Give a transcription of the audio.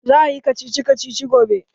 Za ayi kacici kacici gobe?